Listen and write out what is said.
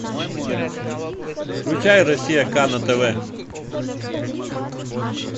включай россия к на тв